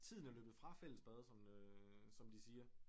Tiden er løbet fra fællesbad som øh som de siger